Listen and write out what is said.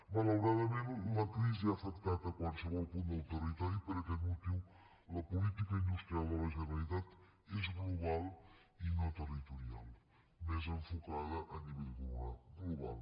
malauradament la crisi ha afectat qualsevol punt del territori i per aquest motiu la política industrial de la generalitat és global i no territorial més enfocada a nivell global